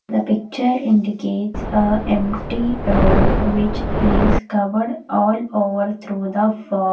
the picture indicates a empty road which is covered all over through the fog.